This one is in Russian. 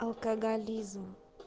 алкоголизм